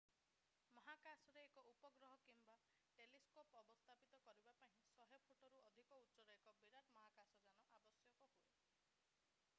ମହାକାଶରେ ଏକ ଉପଗ୍ରହ କିମ୍ବା ଟେଲିସ୍କୋପ୍ ଅବସ୍ଥାପିତ କରିବା ପାଇଁ 100 ଫୁଟରୁ ଅଧିକ ଉଚ୍ଚର ଏକ ବିରାଟ ମହାକାଶଯାନ ଆବଶ୍ୟକ ହୁଏ